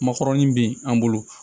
Makɔrɔni bɛ yen an bolo